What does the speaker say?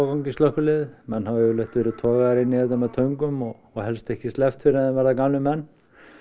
í slökkviliðið menn hafa yfirleitt verið togaðir inn í þetta með töngum og og helst ekki sleppt fyrr en þeir verða gamlir menn